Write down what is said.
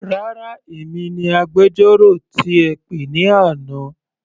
Rárá, èmi ni agbẹjọ́rò tí ẹ pè ní àná.